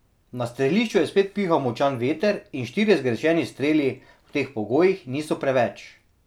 Na strelišču je spet pihal močan veter in štirje zgrešeni streli v teh pogojih niso preveč.